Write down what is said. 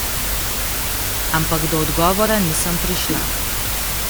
Ampak do odgovora nisem prišla.